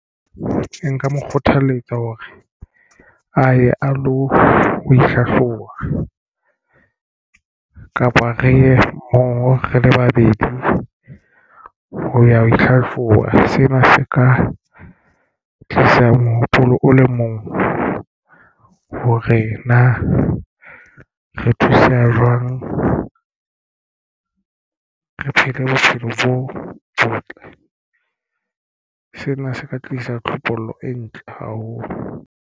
Nka mo kgothaletsa hore a ye a lo ihlahloba kapa re ye moo re le babedi ho ya ho ihlahloba. Sena se ka tlisa mohopolo o le mong hore na re thuseha jwang re phele bophelo bo botle. Sena se ka tlisa tlhokomelo e ntle haholo.